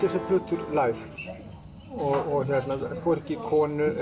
þessar plötur live hvorki konu